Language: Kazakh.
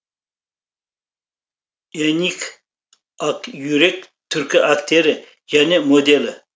энгин акюрек түрік актері және моделі